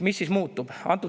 Mis siis muutub?